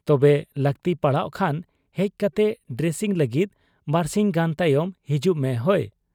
ᱛᱚᱵᱮ ᱞᱟᱹᱠᱛᱤ ᱯᱟᱲᱟᱣᱜ ᱠᱷᱟᱱ ᱦᱮᱡ ᱠᱟᱛᱮ ᱰᱨᱮᱥᱤᱝ ᱞᱟᱹᱜᱤᱫ ᱵᱟᱹᱨᱥᱤᱧ ᱜᱟᱱ ᱛᱟᱭᱚᱢ ᱦᱤᱡᱩᱜ ᱢᱮ, ᱦᱚᱭ !'